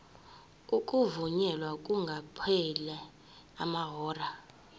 ukuvunyelwa kungakapheli amahora